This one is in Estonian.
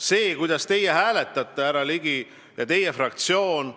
See, kuidas hääletate teie, härra Ligi, ja hääletab teie fraktsioon,